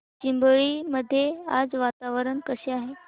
चिंबळी मध्ये आज वातावरण कसे आहे